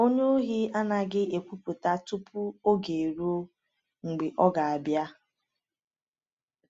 onye Ohi anaghị ekwupụta tupu oge eruo mgbe ọ ga-abịa.